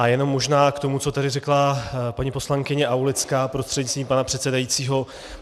A jenom možná k tomu, co tady řekla paní poslankyně Aulická prostřednictvím pana předsedajícího.